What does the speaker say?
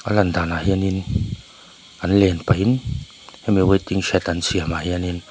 a lan danah hianin an len pahin hemi waiting shed an siamah hianin --